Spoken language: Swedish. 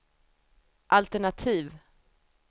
altenativ